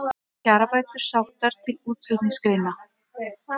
Kjarabætur sóttar til útflutningsgreina